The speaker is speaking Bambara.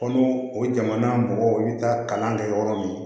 Ko n'o o jamana mɔgɔw i bɛ taa kalan kɛ yɔrɔ min na